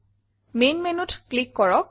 main Menuত click কৰক